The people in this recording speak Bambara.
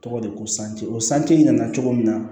Tɔgɔ de ko ko sanji ko sanji nana cogo min na